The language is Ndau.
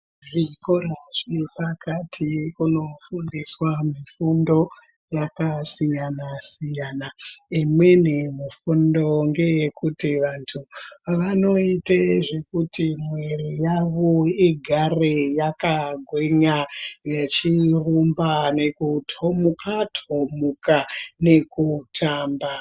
Zvikora zvepakati kuno fundiswa mifundo yakasiyana-siyana, Imweni mifundo ngeekuti vantu vanoite zvekuti mwiri yavo igare yakagwinya vechirumba, nekutomuka-tomuka nekutamba.